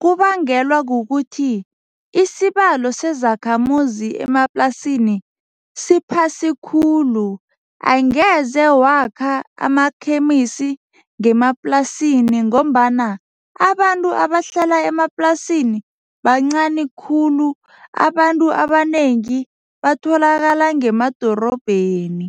kubangelwa kukuthi isibalo sezakhamuzi emaplasini siphasi khulu. Angeze wakha amakhemisi ngemaplasini ngombana abantu abahlala emaplasini bancani khulu, abantu abanengi batholakala ngemadorobheni.